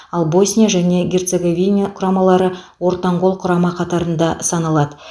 ал босния және герцоговиня құрамалары ортанқол құрама қатарында саналады